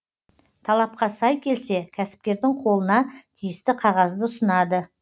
талапқа сай келсе кәсіпкердің қолына тиісті қағазды ұсынады